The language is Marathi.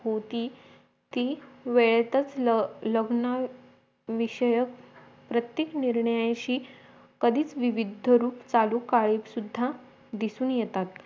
होती ती वेळेतच लग्न विषयक प्रत्येक निर्णयांशी कधीच विविध रूप काढून सुद्धा दिसून येतात